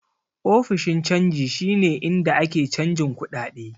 Ofishin canji shi ne inda ake canjin kuɗaɗe.